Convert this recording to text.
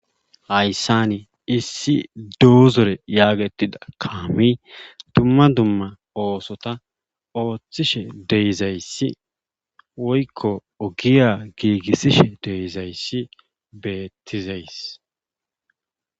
Hayssani issi duuzore yaagettida kaami dumma dumma oosota ooththishe deyzayssi woykko ogiya giigissishe deyizayssi beettizays